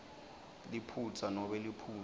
liphutsa nobe liphuzu